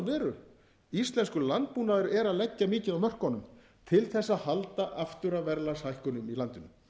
veru íslenskur landbúnaður er að leggja mikið af mörkum til þess að halda aftur af verðlagshækkunum í landinu